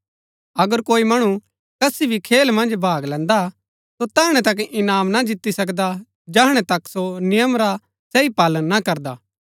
अगर कोई मणु कसी भी खेल मन्ज भाग लैन्दा हा सो तैहणै तक इनाम ना जीती सकदा जैहणै तक सो नियम रा सही पालन ना करदा